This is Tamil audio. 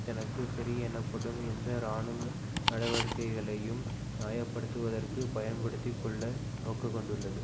தனக்கு சரி எனப்படும் எந்த இராணுவ நடவடிக்கைகளையும் நியாயப்படுத்துவதற்குப் பயன்படுத்தி கொள்ள நோக்கங்கொண்டுள்ளது